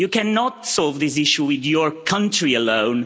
You cannot solve this issue with your country alone